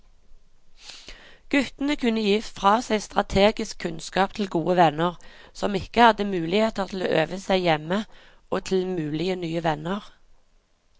Guttene kunne gi fra seg strategisk kunnskap til gode venner som ikke hadde muligheter til å øve seg hjemme og til mulige nye venner.